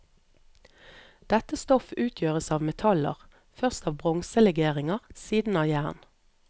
Dette stoff utgjøres av metaller, først av bronselegeringer, siden av jern.